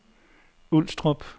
Ulstrup